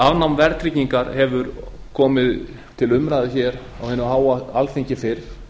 afnám verðtryggingar hefur komið til umræðu hér á hinu háa alþingi fyrr